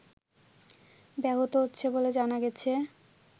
ব্যাহত হচ্ছে বলে জানা গেছে